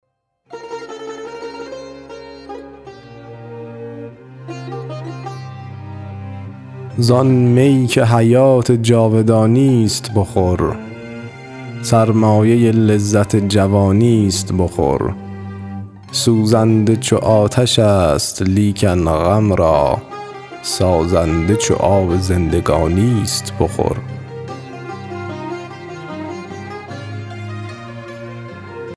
زآن می که حیات جاودانیست بخور سرمایه لذت جوانی است بخور سوزنده چو آتش است لیکن غم را سازنده چو آب زندگانی است بخور